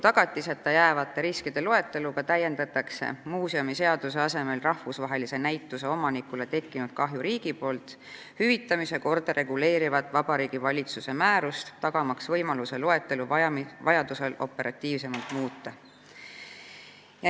Muuseumiseaduse asemel täiendatakse rahvusvahelise näituse omanikule tekkinud kahju riigi poolt hüvitamise korda reguleerivat Vabariigi Valitsuse määrust riikliku tagatiseta jäävate riskide loeteluga, et tagada võimalus loetelu vajadusel operatiivsemalt muuta.